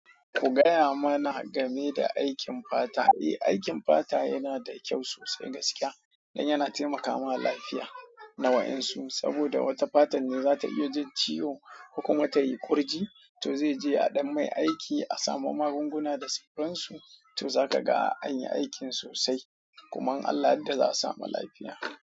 Ku gaya mana game da aikin fata. Eh, aikin fata yana da kyau sosai gaskiya don yana taimaka ma lafiya na wayan su saboda wata fatan da za ta iya jin ciwo kuma ta yi kurji, to zai je a ɗan mai aiki a samu magunguna da sufuran su, to za ka ga an yi aikin sosai kuma in Allah ya yadda za a samu lafiya.